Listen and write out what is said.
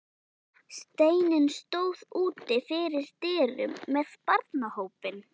Steinunn stóð úti fyrir dyrum með barnahópinn.